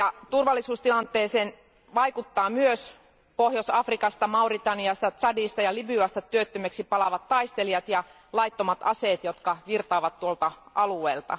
Turvallisuustilanteeseen vaikuttavat myös Pohjois Afrikasta, Mauritaniasta, Tšadista ja Libyasta työttömäksi palaavat taistelijat ja laittomat aseet, jotka virtaavat tuolta alueelta.